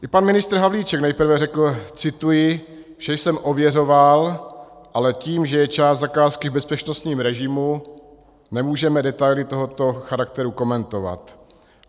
I pan ministr Havlíček nejprve řekl - cituji: "Vše jsem ověřoval, ale tím, že je část zakázky v bezpečnostním režimu, nemůžeme detaily tohoto charakteru komentovat."